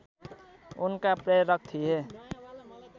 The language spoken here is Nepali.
उनका प्रेरक थिए